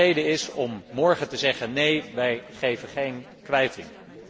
En dat dat een reden is om morgen te zeggen neen, wij verlenen geen kwijting.